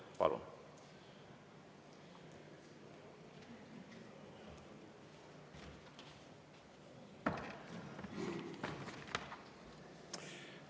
Palun!